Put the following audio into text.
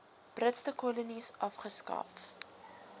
britse kolonies afgeskaf